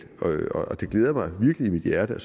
og det glæder virkelig mit hjerte at